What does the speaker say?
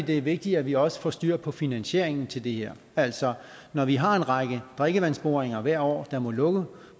det er vigtigt at vi også får styr på finansieringen til det her altså når vi har en række drikkevandsboringer hvert år der må lukke